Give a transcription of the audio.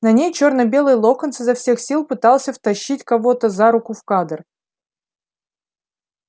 на ней чёрно-белый локонс изо всех сил пытался втащить кого-то за руку в кадр